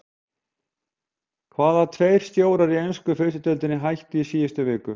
Hvaða tveir stjórar í ensku fyrstu deildinni hættu í síðustu viku?